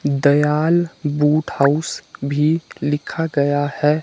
Dayal boot house भी लिखा गया है।